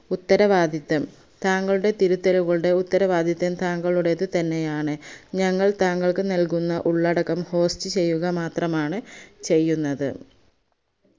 ഉത്തരവാദിത്തം താങ്കളുടെ തിരുത്തലുകളുടെ ഉത്തരവാദിത്തം താങ്കളുടെ തന്നെയാണ് ഞങ്ങൾ താങ്കൾക്ക് നൽകുന്ന ഉള്ളടടക്കം host ചെയ്യുക മാത്രമാണ് ചെയ്യുന്നത്